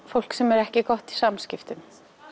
fólk sem er ekki gott í samskiptum